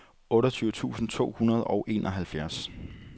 otteogtyve tusind to hundrede og enoghalvfjerds